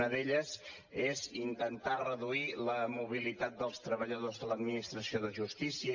una d’elles és intentar reduir la mobilitat dels treballadors de l’administració de justícia